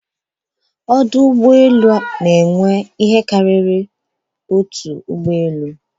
Ọdụ Ụgbọ elu n'enwe ihe karịrị otu ụgbọ elu.